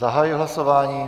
Zahajuji hlasování.